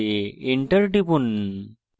enter টিপুন